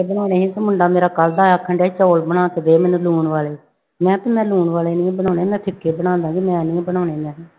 ਬਣਾਉਣੇ ਸੀ ਤੇ ਮੁੰਡਾ ਮੇਰਾ ਕੱਲ੍ਹ ਦਾ ਆਖਣ ਡਿਆ ਸੀ ਚੌਲ ਬਣਾ ਕੇ ਦੇ ਮੈਨੂੰ ਲੂਣ ਵਾਲੇ, ਮੈਂ ਵੀ ਮੈਂ ਲੂਣ ਵਾਲੇ ਨੀ ਬਣਾਉਣੇ ਮੈਂ ਫ਼ਿਕੇ ਬਣਾ ਦੇਵਾਂਗੀ ਮੈਂ ਨੀ ਬਣਾਉਣੇ ਮੈਂ ਕਿਹਾ।